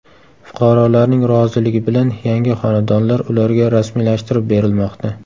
Fuqarolarning roziligi bilan yangi xonadonlar ularga rasmiylashtirib berilmoqda.